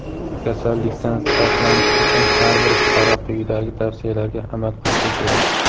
Kasallikdan saqlanish uchun har bir fuqaro quyidagi tavsiyalarga amal qilishi kerak:.